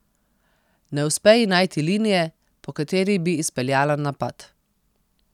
Ne uspe ji najti linije, po kateri bi izpeljala napad.